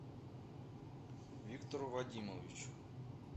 виктору вадимовичу